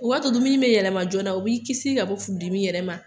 U k'a to dumuni bɛ yɛlɛma joona o b'i kisi ka bɔ furudimi yɛrɛ ma